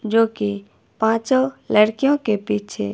जोकि पांचों लड़कियों के पीछे--